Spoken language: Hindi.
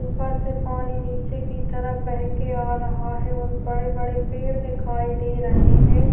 ऊपर से पानी नीचे की तरफ बहके आ रहा है और बड़े - बड़े पेड़ दिखाई दे रहे हैं।